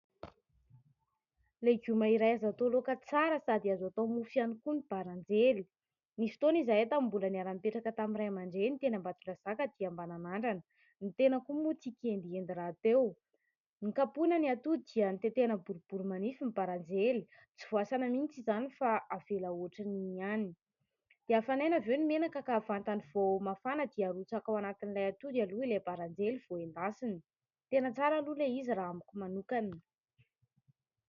Legioma iray azo atao laoka tsara sady azo atao mofo ihany koa ny baranjely. Misy fotoana izahay tamin'ny mbola niara-nipetraka tamin'ny ray aman-dreny teny Ambatondrazaka dia mba nanandrana, ny tena koa moa tia kelikely rahateo. Nokapohina ny atody dia tetehina boribory manify ny baranjely tsy voasana mihintsy izany fa avela ohatry ny iny ihany. Dia afanaina avy eo ny menaka ka vantany vao mafana ny dia arotsaka ao anatin'ny ilay atody aloha ilay baranjely vao endasina. Tena tsara aloha ilay izy raha amiko manokana